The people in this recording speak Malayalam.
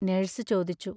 നേഴ്സ് ചോദിച്ചു.